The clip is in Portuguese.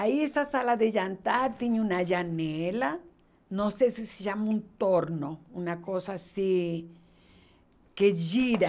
Aí essa sala de jantar tinha uma janela, não sei se se chama um torno, uma coisa assim que gira.